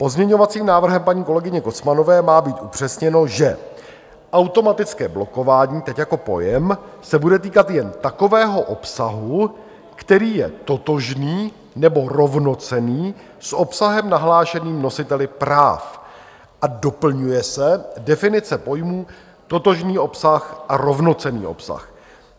Pozměňovacím návrhem paní kolegyně Kocmanové má být upřesněno, že automatické blokování, teď jako pojem, se bude týkat jen takového obsahu, který je totožný nebo rovnocenný s obsahem nahlášeným nositeli práv, a doplňuje se definice pojmů totožný obsah a rovnocenný obsah.